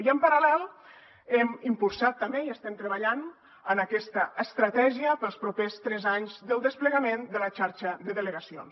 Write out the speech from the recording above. i en paral·lel hem impulsat també i estem treballant en aquesta estratègia per als propers tres anys del desplegament de la xarxa de delegacions